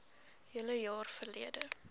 hele jaar verlede